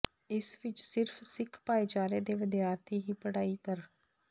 ਇਸ ਵਿਚ ਸਿਰਫ ਸਿੱਖ ਭਾਈਚਾਰੇ ਦੇ ਵਿਦਿਆਰਥੀ ਹੀ ਪੜ੍ਹਾਈ ਕਰ